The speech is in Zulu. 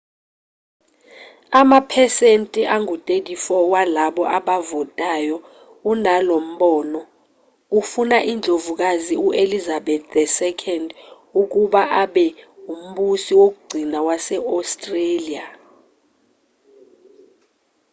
amaphesenti angu-34 walabo abavotayo unalombono ufuna indlovukazi u-elizabeth ii ukuba abe umbusi wokugcina wase-australia